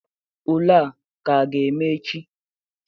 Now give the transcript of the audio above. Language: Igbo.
Ule a ka ga-eme echi?